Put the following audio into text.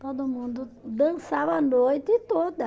Todo mundo dançava a noite toda.